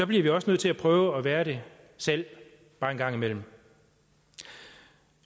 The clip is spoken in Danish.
bliver vi også nødt til at prøve at være det selv bare en gang imellem